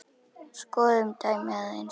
Skoðum dæmið aðeins.